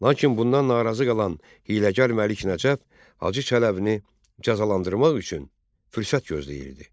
Lakin bundan narazı qalan hiyləgər Məlik Nəcəf Hacı Çələbini cəzalandırmaq üçün fürsət gözləyirdi.